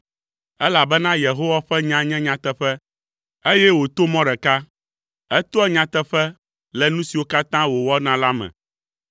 Elabena Yehowa ƒe nya nye nyateƒe, eye wòto mɔ ɖeka; etoa nyateƒe le nu siwo katã wòwɔna la me.